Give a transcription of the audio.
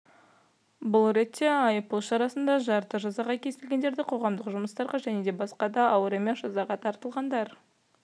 бұл ретте айыппұл шарасына шартты жазаға кесілгендер қоғамдық жұмыстарға және басқа да ауыр емес жазаға тартылғандар